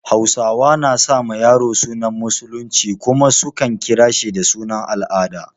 Hausawa na sa ma yaro sunan Musulunci kuma su kan kira shi da sunan al'ada.